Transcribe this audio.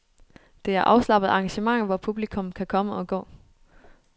Det er afslappede arrangementer, hvor publikum kan komme og gå.